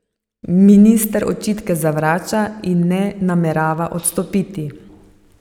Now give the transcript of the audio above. Minister očitke zavrača in ne namerava odstopiti.